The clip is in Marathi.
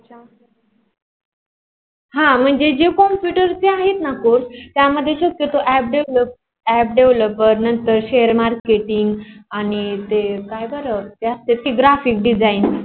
हा मंजे जे computer चे आहे ना course त्या मध्ये art developer नंतर share marketing मग ते काय झाल. ज्यास्तची graphic design